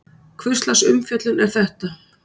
Hvurslags umfjöllun er þetta?